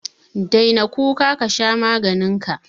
Daina kuka ka dauki maganinka.